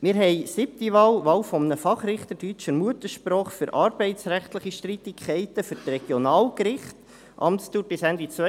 Wir haben als siebte Wahl jene eines Fachrichters deutscher Muttersprache für arbeitsrechtliche Streitigkeiten für die Regionalgerichte, Amtsdauer bis Ende 2022.